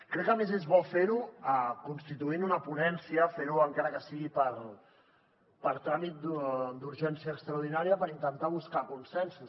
crec que a més és bo fer ho constituint una ponència fer ho encara que sigui per tràmit d’urgència extraordinària per intentar buscar consensos